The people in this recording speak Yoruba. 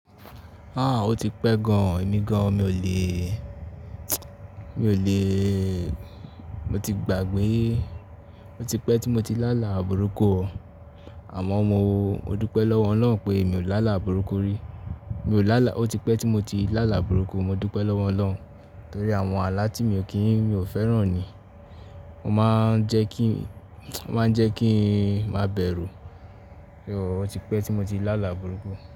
O ti pẹ́ gan o, èmi gan, mi ò lè, mi ò lè, mo ti gbàgbé, o ti pẹ́ tí mo ti lá àlà burúkú o. Àmọ́ mo dúpẹ́ lọ́wọ́ Ọlọ́run pé mi ò lá àlà burúkú rí. Mi ò lá àlà, o ti pẹ́ tí mo ti lá àlà burúkú, mo dúpẹ́ lọ́wọ́ Ọlọ́run. Nítorí àwọn àlà tí mi ò kí n, mi ò fẹ́ràn ni. Ó máa ń jẹ́ kí, ó máa ń jẹ́ kí n máa bẹ̀rù. O ti pẹ́ tí mo ti lá àlà burúkú.